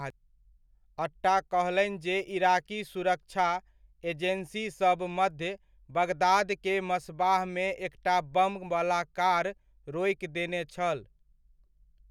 अट्टा कहलनि जे इराकी सुरक्षा एजेंसीसब मध्य बगदाद के मस्बाह मे एकटा बम वला कार रोकि देने छल।